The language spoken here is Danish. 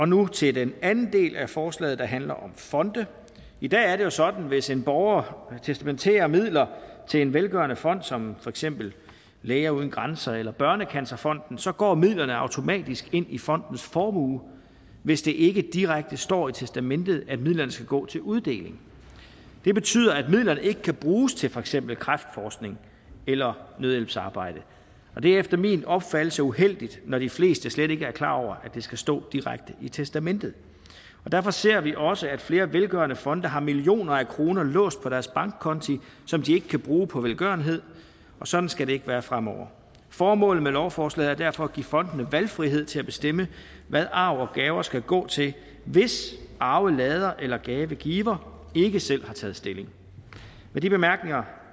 nu til den anden del af forslaget der handler om fonde i dag er det jo sådan at hvis en borger testamenterer midler til en velgørende fond som for eksempel læger uden grænser eller børnecancerfonden så går midlerne automatisk ind i fondens formue hvis det ikke direkte står i testamentet at midlerne skal gå til uddeling det betyder at midlerne ikke kan bruges til for eksempel kræftforskning eller nødhjælpsarbejde det er efter min opfattelse uheldigt når de fleste slet ikke er klar over det skal stå direkte i testamentet derfor ser vi også at flere velgørende fonde har millioner af kroner låst på deres bankkonti som de ikke kan bruge på velgørenhed og sådan skal det ikke være fremover formålet med lovforslaget er derfor at give fondene valgfrihed til at bestemme hvad arv og gaver skal gå til hvis arvelader eller gavegiver ikke selv har taget stilling med de bemærkninger